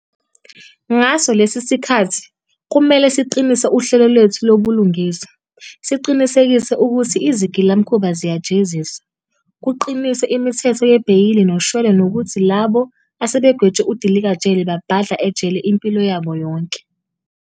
Ngaso lesi sikhathi, kumele siqinise uhlelo lwethu lobulungiswa, siqinisekise ukuthi izigilamkhuba ziyajeziswa, kuqiniswe imithetho yebheyili noshwele nokuthi labo asebegwetshwe udilikajele babhadla ejele impilo yabo yonke.